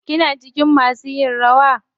Kina cikin masu yin rawa?